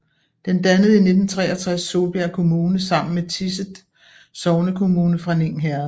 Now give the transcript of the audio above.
Den dannede i 1963 Solbjerg Kommune sammen med Tiset sognekommune fra Ning Herred